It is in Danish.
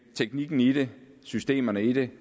teknikken i det systemerne i det